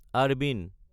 আৰবাইন